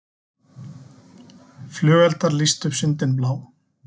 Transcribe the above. Flugeldar lýstu upp sundin blá